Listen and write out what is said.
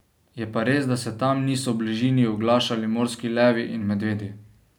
Je pa res, da se tam niso v bližini oglašali morski levi in medvedi.